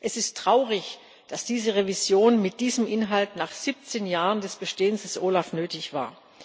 Es ist traurig, dass diese Revision mit diesem Inhalt nach 17 Jahren des Bestehens des OLAF nötig war.